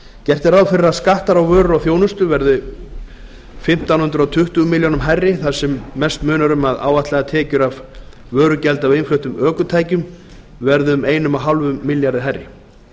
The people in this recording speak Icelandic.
gert er ráð fyrir að skattar á vörur og þjónustu verði fimmtán hundruð tuttugu milljónir króna hærri þar sem mest munar um að áætlaðar tekjur af vörugjaldi af innfluttum ökutækjum verði um fimmtán hundruð milljóna króna hærri